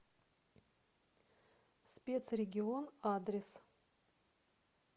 спецрегион адрес